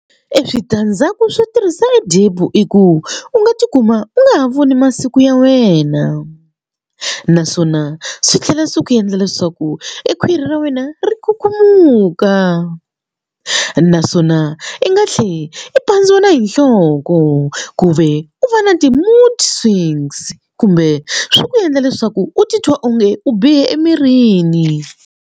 E switandzhaku swo tirhisa DEPO i ku u nga tikuma u nga ha voni masiku ya wena naswona swi tlhela swi ku endla leswaku e khwiri ra wena ri kukumuka naswona i nga tlhele i pandziwa na hi nhloko ku ve u va na ti-moods swings kumbe swi ku endla leswaku u titwa onge u bihe emirini.